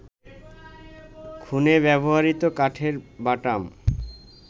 খুনে ব্যবহৃত কাঠের বাটাম